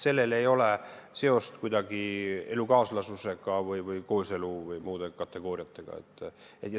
Sellel ei ole seost elukaaslusega või kooseluga või muude kategooriatega.